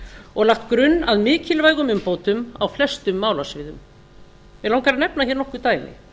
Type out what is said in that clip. og lagt grunn í mikilvægum umbótum á flestum málasviðum mig langar að nefna hér nokkur dæmi